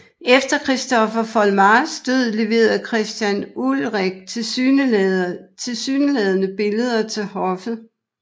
Efter Christopher Foltmars død leverede Christian Ulrik tilsyneladende billeder til hoffet